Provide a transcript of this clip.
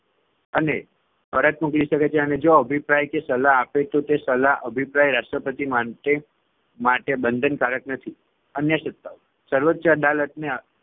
અને પરત મોકલી શકે છે. અને જો અભિપ્રાય કે સલાહ આપે તો તે સલાહ અભિપ્રાય રાષ્ટ્રપતિ માંટે માટે બંધનકારક નથી. અન્ય સત્તાઓ સર્વોચ્ય અદાલતને